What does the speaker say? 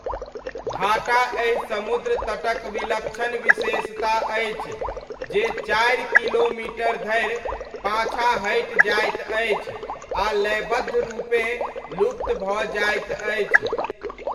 भाटा एहि समुद्र तटक विलक्षण विशेषता अछि जे चारि किमी धरि पाछाँ हटि जाइत अछि आ लयबद्ध रूपेँ लुप्त भऽ जाइत अछि।